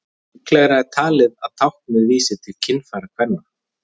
líklegra er talið að táknið vísi til kynfæra kvenna